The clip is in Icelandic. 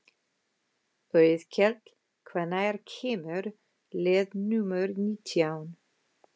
Auðkell, hvenær kemur leið númer nítján?